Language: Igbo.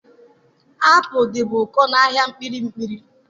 Apụl dịbu ụkọ n'ahịa kpiri kpiri.